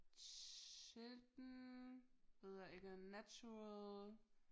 Children ved jeg ikke natural